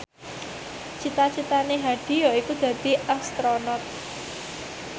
cita citane Hadi yaiku dadi Astronot